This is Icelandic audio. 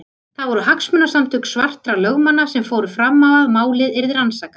Það voru hagsmunasamtök svartra lögmanna sem fóru fram á að málið yrði rannsakað.